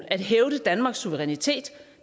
at hævde danmarks suverænitet